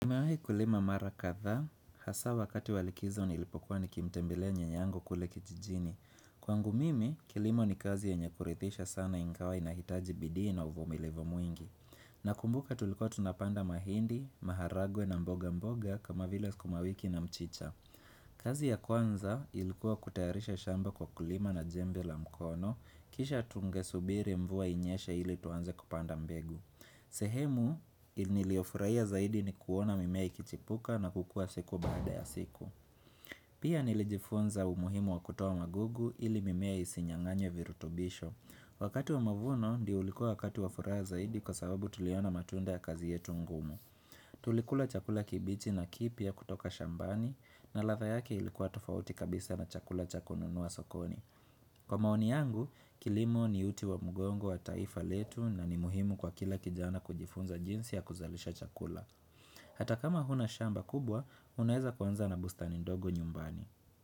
Niwahi kulima mara kadhaa, hasaa wakati wa likizo nilipokuwa nikimtembelea nyanyangu kule kijijini. Kwangu mimi, kilimo ni kazi yenye kuridhisha sana ingawa inahitaji bidii na uvumilivu mwingi. Na kumbuka tulikouwa tunapanda mahindi, maharagwe na mboga mboga kama vile sukumawiki na mchicha. Kazi ya kwanza ilikuwa kutayarisha shamba kwa kulima na jembe la mkono, kisha tungesubiri mvua inyeshe ili tuanze kupanda mbegu. Sehemu niliyofuraia zaidi ni kuona mimea ikichipuka na kukua siku baada ya siku Pia nilijifunza umuhimu wa kutoa magugu ili mimea isinyang'anywe virutubisho Wakati wa mavuno ndio ulikuwa wakati wa furaha zaidi kwa sababu tuliona matunda ya kazi yetu ngumu Tulikula chakula kibichi na kipya kutoka shambani na ladha yake ilikuwa tofauti kabisa na chakula cha kununua sokoni Kwa maoni yangu, kilimo ni uti wa mgongo wa taifa letu na ni muhimu kwa kila kijana kujifunza jinsi ya kuzalisha chakula. Hata kama huna shamba kubwa, unaeza kwanza na bustani ndogo nyumbani.